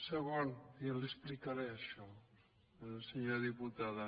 i ja li explicaré això a la senyora diputada